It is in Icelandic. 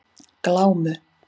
Glámu